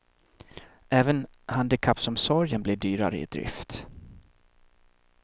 Även handikappomsorgen blir dyrare i drift.